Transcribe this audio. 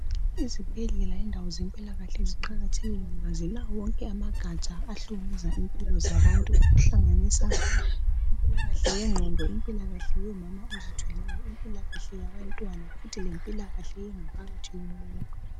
Izibhedlela indawo zempilakahle ziqakathekile ngoba zilawo wonke amagatsha ahlola ngezempilo zabantu ahlanganisa impilakahle yengqondo impilakahle yabomama abazithweleyo impilakahle yabantwana futhi lempilakahle yengaphakathi yomuntu.